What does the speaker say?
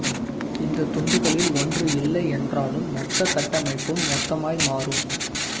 இந்த துண்டுகளில் ஒன்று இல்லை என்றாலும் மொத்த கட்டமைப்பும் மொத்தமாய் மாறும்